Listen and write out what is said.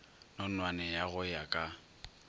nonwane ya go ya ka